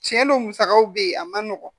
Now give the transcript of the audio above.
Tiɲɛ don musakaw bɛ ye a man nɔgɔn